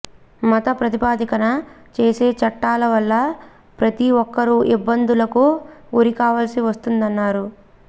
మత ప్రాతిపదికన చేసే చట్టాల వల్ల ప్రతి ఒక్కరూ ఇబ్బందులకు గురికావాల్సి వస్తుందన్నారు